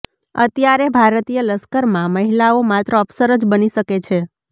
અત્યારે ભારતીય લશ્કરમાં મહિલાઓ માત્ર અફસર જ બની શકે છે